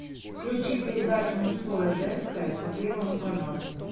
включи передачу мужское женское по первому каналу